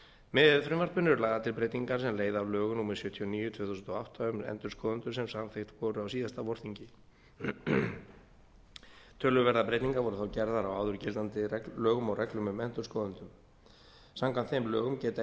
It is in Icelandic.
með frumvarpinu eru lagðar til breytingar sem leiða af lögum númer sjötíu og níu tvö þúsund og átta um endurskoðendur sem samþykkt voru á síðasta vorþingi töluverðar breytingar voru þá gerðar á áður gildandi lögum og reglum um endurskoðendur samkvæmt þeim lögum geta